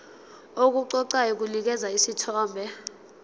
okuqoqayo kunikeza isithombe